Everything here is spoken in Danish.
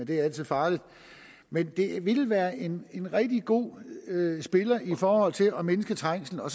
det er altid farligt men en havnetunnel ville være en rigtig god spiller i forhold til at mindske trængslen og